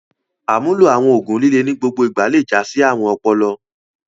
Àmúlò àwọn òògùn líle ní gbogbo ìgbà le jásí àrùn ọpọlọ.